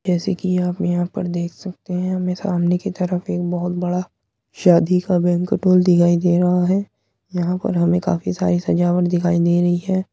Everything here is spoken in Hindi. जैसे की आप यहाँ पर देख सकते है हमे सामने की तरफ एक बहुत बड़ा शादी का बांकुएट हाल देखाई दे रहा है। यहाँ पर हमे काफी सारी सजावट दिखाइ दे रही है।